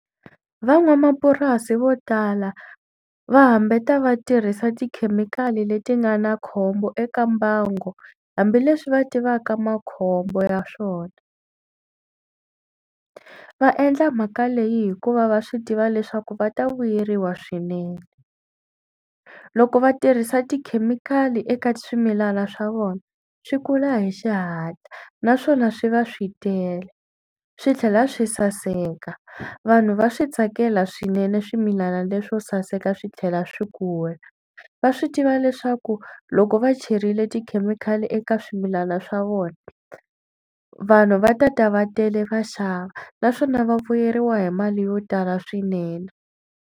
Van'wamapurasi vo tala va hambeta va tirhisa tikhemikhali leti nga na khombo eka mbango hambileswi va tivaka makhombo ya swona, va endla mhaka leyi hikuva va swi tiva leswaku va ta vuyeriwa swinene loko va tirhisa tikhemikhali eka swimilana swa vona swi kula hi xihatla naswona swi va swi tele swi tlhela swi saseka vanhu va swi tsakela swinene swimilana leswo saseka swi tlhela swi kula va swi tiva leswaku loko va cherile tikhemikhali eka swimilana swa vona vanhu va ta ta va tele va xava naswona va vuyeriwa hi mali yo tala swinene.